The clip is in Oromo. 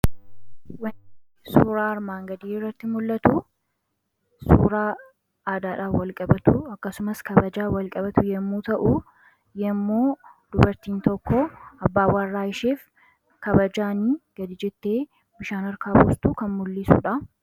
Wanni suuraa armaan gadii irratti mul'atu suuraa aadaadhaan walqabatu, akkasumas kabajaan wal qabatu yommuu ta'u, yommuu dubartiin tokko abbaa warraa ishiif kabajaan gadi jettee bishaan harkaa buustu kan mul'isudha.